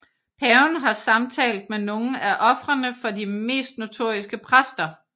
Paven har samtalt med nogle af ofrene for de mest notoriske præster